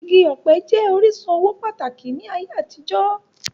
Igi ọpẹ jẹ orisun owo pataki ni aye atijọ.